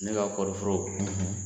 N'u y'a kɔɔriforo ye